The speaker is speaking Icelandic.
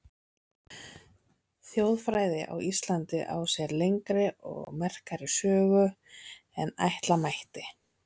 Þjóðfræði á Íslandi á sér lengri og merkari sögu en ætla mætti.